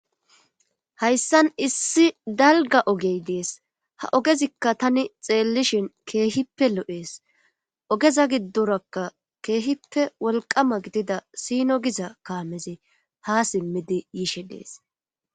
hayssan issi dalga ogey dees ha ogezikka tani xeellishin keehippe lo7ees ogeza giddorakka keehippe wolqama gidida sino giza kaamezi ha simmidi yiishe dees